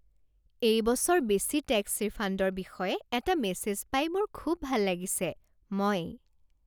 এই বছৰ বেছি টেক্স ৰিফাণ্ডৰ বিষয়ে এটা মেছেজ পাই মোৰ খুব ভাল লাগিছে। মই